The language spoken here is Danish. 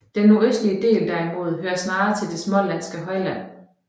Den nordøstlige del derimod hører snarere til det smålandske højland